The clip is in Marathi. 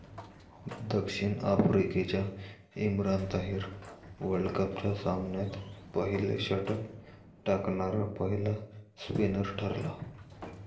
दक्षिण आफ्रिकेचा इम्रान ताहिर वर्ल्डकपच्या सामन्यात पहिले षटक टाकणारा पहिला स्पिनर ठरला.